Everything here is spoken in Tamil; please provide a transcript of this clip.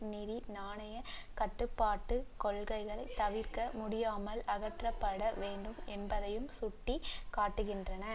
நிதி நாணய கட்டுப்பாட்டு கொள்கைகள் தவிர்க்க முடியாமல் அகற்றப்பட வேண்டும் என்பதையும் சுட்டி காட்டுகின்றன